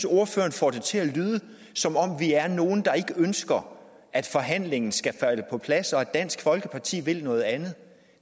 ordføreren får det til at lyde som om vi er nogle der ikke ønsker at forhandlingen skal falde på plads og som om dansk folkeparti vil noget andet